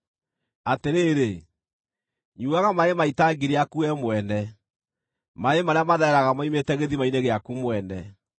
Atĩrĩrĩ, nyuuaga maaĩ ma itangi rĩaku we mwene, maaĩ marĩa mathereraga moimĩte gĩthima-inĩ gĩaku mwene.